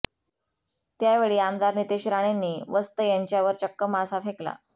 त्यावेळी आमदार नितेश राणेंनी वस्त यांच्यावर चक्क मासा फेकला